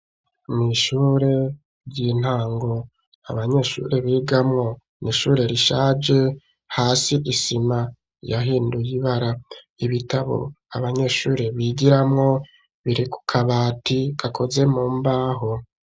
Mw'ishure ry'intango abanyeshuri bigamwo mw'ishure rishaje hasi isima yahinduye ibara ibitabo abanyeshuri bigiramwo biri ku kabati gakoze mu mbaho